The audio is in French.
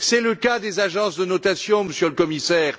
C'est le cas des agences de notation, Monsieur le Commissaire.